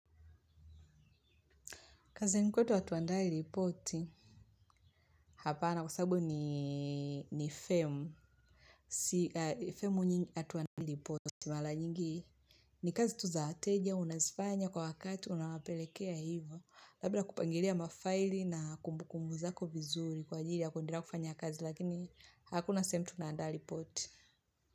Kazini kwetu hatuandai ripoti. Hapana kwa sababu ni femu. Femu nyingi hatuandai ripoti. Mala nyingi ni kazi tu za wateja, unazifanya kwa wakati, unawapelekea hivyo. Labda kupangilia mafaili na kumbukumbu zako vizuri kwa ajili. Hakuna sehemu tunaandaa ripoti.